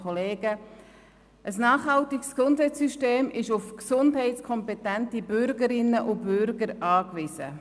Ein nachhaltiges Gesundheitssystem ist auf gesundheitskompetente Bürgerinnen und Bürger angewiesen.